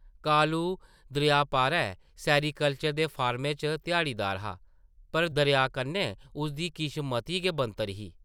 कालू दरेआ पारें सैरीकल्चर दे फार्मै च ध्याड़ीदार हा, पर दरेआ कन्नै उसदी किश मती गै बनतर ही ।